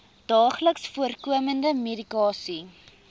daagliks voorkomende medikasie